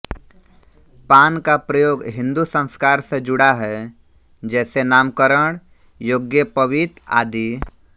पान का प्रयोग हिन्दू संस्कार से जुड़ा है जैसे नामकरण यज्ञोपवीत आदि